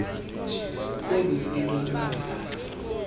kwezi zinto zilandelayo